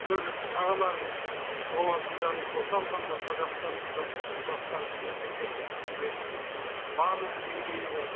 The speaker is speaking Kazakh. төрағаларының лауазымдарын қоса алғанда қазақстандық ы жастарды мемлекеттік қызметтің барлық деңгейіне